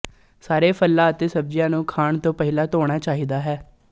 ਸਾਰੇ ਫਲਾਂ ਅਤੇ ਸਬਜ਼ੀਆਂ ਨੂੰ ਖਾਣ ਤੋਂ ਪਹਿਲਾਂ ਧੋਣਾ ਚਾਹੀਦਾ ਹੈ